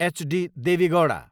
HD. Devegowda